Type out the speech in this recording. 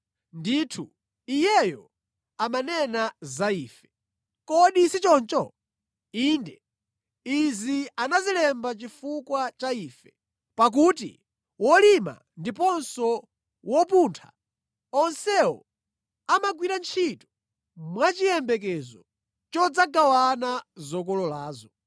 Ndithu Iyeyo amanena za ifenso, kodi si choncho? Inde, izi anazilemba chifukwa cha ife, pakuti wolima ndiponso wopuntha, onsewo amagwira ntchito mwachiyembekezo chodzagawana zokololazo.